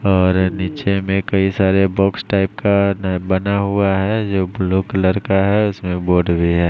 और निचे में कई सारे बॉक्स टाइप का न बना हुआ है जो ब्लू कलर का है उसमे बोर्ड भी है।